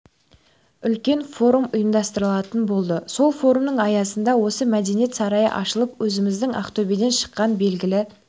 үлкен форум ұйымдастырылатын болады сол форумның аясында осы мәдениет сарайы ашылып өзіміздің ақтөбеден шыққан белгілі